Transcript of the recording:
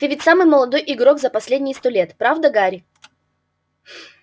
ты ведь самый молодой игрок за последние сто лет правда гарри